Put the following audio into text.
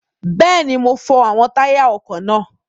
Bẹ́ẹ̀ni, mo fọ àwọn táyà ọkọ̀ náà.